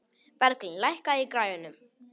Berglín, lækkaðu í græjunum.